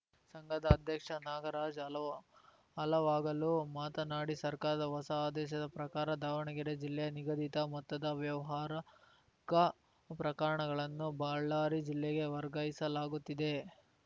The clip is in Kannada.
ಸಂಘದ ಅಧ್ಯಕ್ಷ ನಾಗರಾಜ್‌ ಹಲ್ ಹಲವಾಗಲು ಮಾತನಾಡಿ ಸರ್ಕಾರದ ಹೊಸ ಆದೇಶದ ಪ್ರಕಾರ ದಾವಣಗೆರೆ ಜಿಲ್ಲೆಯ ನಿಗದಿತ ಮೊತ್ತದ ವ್ಯವಹಾರಕ ಪ್ರಕರಣಗಳನ್ನು ಬಳ್ಳಾರಿ ಜಿಲ್ಲೆಗೆ ವರ್ಗಾಯಿಸಲಾಗುತ್ತಿದೆ